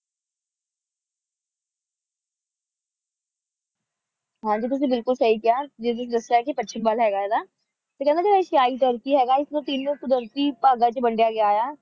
ਹਾਂ ਜੀ ਤੁਸੀਂ ਬਿਲਕੁਲ ਸਹੀ ਕਿਹਾ ਜਿਵੇਂ ਤੁਸੀਂ ਦੱਸਿਆ ਪੱਛਮ ਵੱਲਹੈਗਾ ਇਹਦਾ ਤੇ ਹੀਣੇ ਜਿਹੜਾ ਏਸ਼ਿਆਈ ਤੁਰਕੀ ਹੈਗਾ ਇਸਨੂੰ ਤਿੰਨ ਕੁਦਰਤੀ ਭਾਗਾਂ ਵਿੱਚ ਵੰਡਿਆ ਗਿਆ ਹੈ